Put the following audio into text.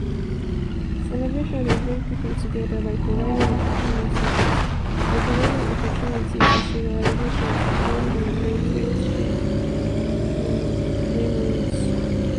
celebration dey bring people together by providing opportunity by providing opportunity for socializing bonding and create shared memories.